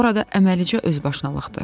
Orada əməlicə özbaşınalıqdır.